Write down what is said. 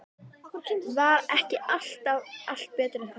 Var ekki allt betra en þetta?